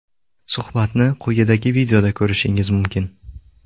Suhbatni quyidagi videoda ko‘rishingiz mumkin.